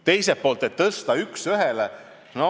Teiselt poolt võiks tõsta nii, et oleks üks ühele.